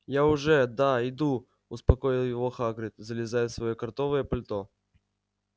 я уже да иду успокоил его хагрид залезая в своё кротовое пальто